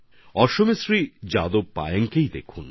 আসামের শ্রী যাদব পায়েংএর বিষয়টাই দেখুন